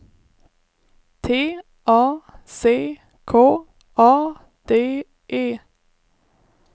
T A C K A D E